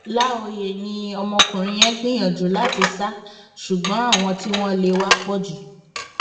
láòyé ni ọmọkùnrin yẹn gbìyànjú láti sá ṣùgbọn àwọn tí wọn lé e wá pọ jù